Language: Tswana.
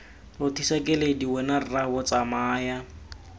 rothisa keledi wena rraabo tsamaya